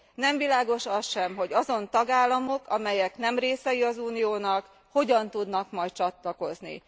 Nem világos az sem, hogy azon tagállamok, amelyek nem részei az Uniónak, hogyan tudnak majd csatlakozni.